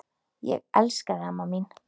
Ég elska þig, amma mín.